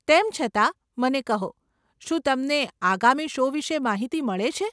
તેમ છતાં, મને કહો, શું તમને આગામી શો વિશે માહિતી મળે છે?